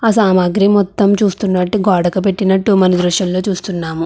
ఆ సామాగ్రి మొత్తము చూస్తున్నట్టు గోడకు పెట్టినట్టు మనం దృశ్యంలో చూస్తున్నాము.